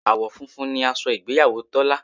Àwọ̀ funfun ni aṣọ ìgbéyàwó Tọ́lá